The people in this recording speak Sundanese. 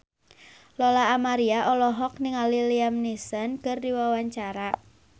Lola Amaria olohok ningali Liam Neeson keur diwawancara